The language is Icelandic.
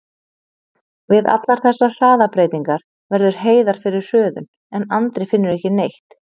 Við allar þessar hraðabreytingar verður Heiðar fyrir hröðun, en Andri finnur ekki neitt.